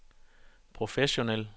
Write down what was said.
professionel